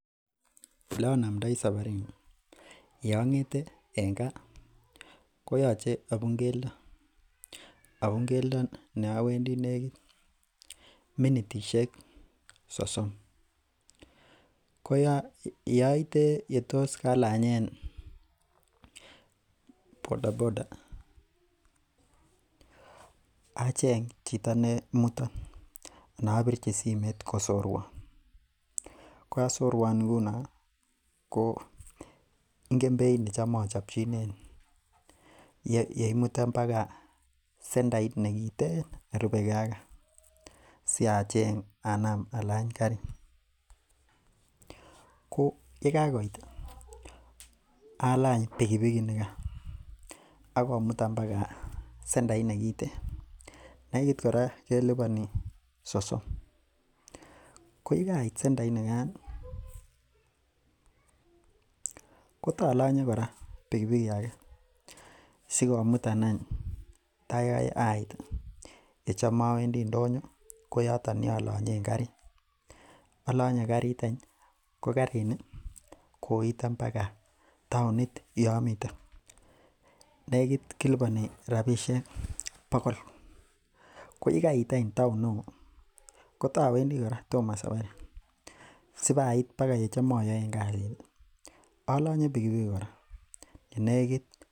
Ole anamndai sabarit ni yeang'ete en kaa koyoche abuun keldo neawendi negit minitisiek sosom. Yeaite yetos alang'en bodaboda acheng chito neimuton anan abirchi simeet kosorwaan ko yasorwaan ingunon ko ingen beit necham achobchinen yeimitan bagaa sendait nekiten nerubekee ak kaa, sia acheng Anam alany karit ko yekakoit alany pikipiki inigaan akomutan bagaa sendait nekiten, nenegit kora kelubani sosom ko yelait sendait nigaan kotalanye kora sendait ake sikomitan any tai ait yecham awendi ndo nyo ko yoton yolannyen karit , yealany karit , ko karit ni koitan baga taonit yaamiten nekit kilubani rabisiek bokol, ko yekait any town neo kotowendi kora toma kobek saparit. Sipait baga yechom ayaen kasit ih alanye pikipiki kora yenegit.